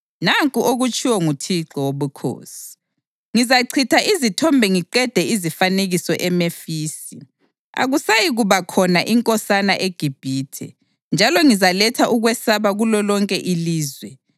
Nanku okutshiwo nguThixo Wobukhosi: Ngizachitha izithombe ngiqede izifanekiso eMemfisi. Akusayikuba khona inkosana eGibhithe, njalo ngizaletha ukwesaba kulolonke ilizwe.